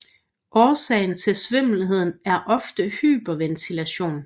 Årsagen til svimmelheden er ofte hyperventilation